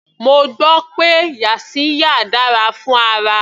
Mo gbọ́ pé yaxiya dára fún ara.